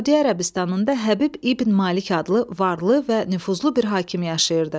Səudiyyə Ərəbistanında Həbib İbn Malik adlı varlı və nüfuzlu bir hakim yaşayırdı.